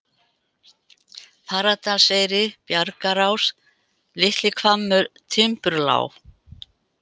Fagradalseyri, Bjargarás, Litlihvammur, Timburlág